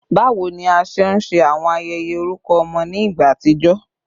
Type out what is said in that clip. Bawo ni a ṣe nṣe awọn ayẹyẹ orukọ ọmọ ni igba atijọ?